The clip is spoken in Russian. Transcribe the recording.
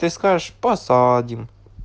ты скажешь посадим